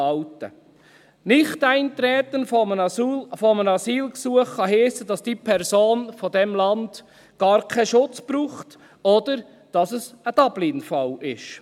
Nichteintreten auf ein Asylgesuch kann heissen, dass eine Person aus diesem Land gar keinen Schutz braucht, oder dass es ein Dublin-Fall ist.